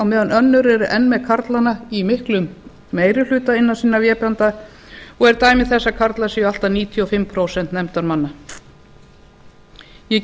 á meðan önnur eru enn með karlana í miklu meiri hluta innan sinna vébanda og eru dæmi þess að karlar séu allt að níutíu og fimm prósent nefndarmanna ég